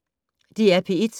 DR P1